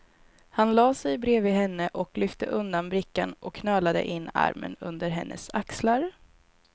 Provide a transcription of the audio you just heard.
Han lade sig bredvid henne och lyfte undan brickan och knölade in armen under hennes axlar.